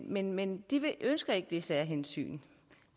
men men de ønsker ikke det særhensyn